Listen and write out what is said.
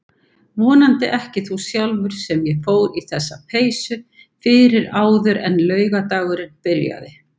Vonandi ekki þú sjálfur sem ég fór í þessa peysu fyrir áður en laugardagurinn byrjaði.